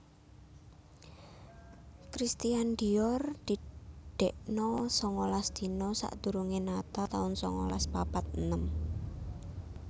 Christian Dior didekno songolas dina sakdurunge natal taun songolas papat enem